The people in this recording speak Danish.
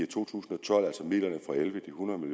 to tusind og elleve de hundrede